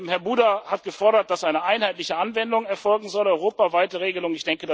Ziel. Herr Buda hat gefordert, dass eine einheitliche Anwendung erfolgen soll, eine europaweite Regelung.